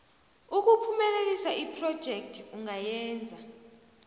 ukuphumelelisa iphrojekhthi ungayenza